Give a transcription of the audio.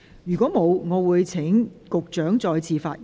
如果沒有，我現在請局長再次發言。